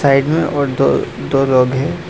एक में और दो दो लोग हैं।